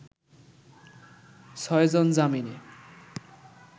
ছয়জন জামিনে